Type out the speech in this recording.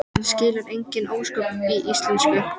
Hann skilur engin ósköp í íslensku.